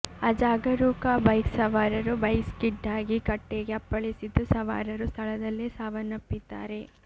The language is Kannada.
ಅಜಾಗರೂಕ ಬೈಕ್ ಸಾವರರು ಬೈಕ್ ಸ್ಕಿಡ್ಡಾಗಿ ಕಟ್ಟೆಗೆ ಅಪ್ಪಳಿಸಿದ್ದು ಸವಾರರು ಸ್ಥಳದಲ್ಲೇ ಸಾವನ್ನಪ್ಪಿದ್ದಾರೆ